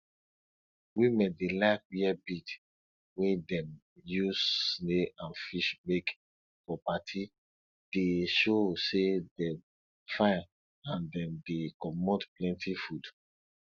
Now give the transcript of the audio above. women dey like wear bead wey dem use snail and fish make for party dey show say dem fine and dem dey comot plenty food